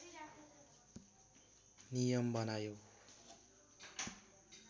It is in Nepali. नियम बनायो